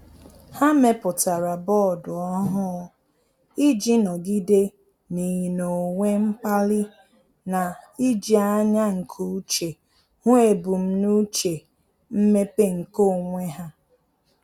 Há mèpụ̀tárà bọọdụ ọ́hụ́ụ iji nọ́gídé n’ị́nọ́wé mkpali na íjí ányá nke úchè hụ́ ebumnuche mmepe nke onwe ha.